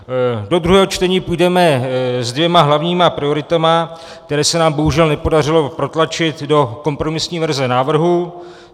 Do druhého čtení půjdeme s dvěma hlavními prioritami, které se nám bohužel nepodařilo protlačit do kompromisní verze návrhu.